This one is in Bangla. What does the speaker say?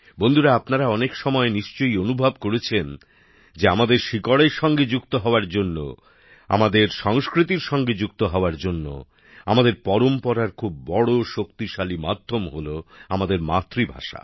বন্ধুরা আপনারা অনেক সময়ই নিশ্চয় অনুভব করেছেন যে আমাদের শিকড়ের সঙ্গে যুক্ত হওয়ার জন্য আমাদের সংস্কৃতির সঙ্গে যুক্ত হওয়ার জন্য আমাদের ঐতিহ্যের খুব বড় শক্তিশালী মাধ্যম হল আমাদের মাতৃভাষা